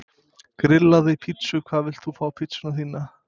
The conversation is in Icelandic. Grillaði pizzu Hvað vilt þú fá á pizzuna þína?